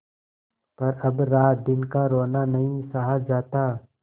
पर अब रातदिन का रोना नहीं सहा जाता